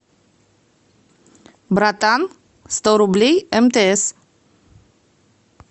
братан сто рублей мтс